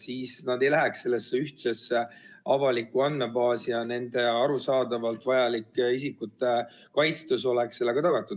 Siis nad ei läheks sellesse ühtsesse avalikku andmebaasi ja nende arusaadavalt vajalik isikukaitstus oleks tagatud.